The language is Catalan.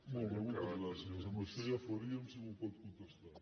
molt bé moltes gràcies amb això ja faríem si m’ho pot contestar